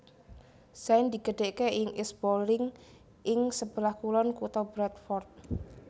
Zayn digedheke ing East Bowling ing sebelah kulon kutha Bradford